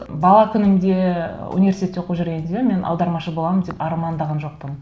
бала күнімде университетте оқып жүргенде мен аудармашы боламын деп армандаған жоқпын